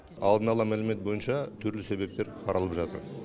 алдын ала мәлімет бойынша түрлі себептер қаралып жатыр